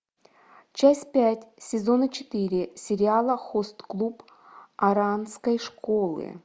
часть пять сезона четыре сериала хост клуб оранской школы